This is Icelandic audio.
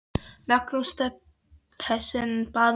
Magnús Stephensen bað mig gera þetta.